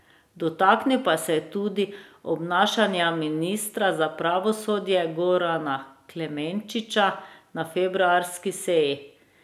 Dotaknil pa se je tudi obnašanja ministra za pravosodje Gorana Klemenčiča na februarski seji.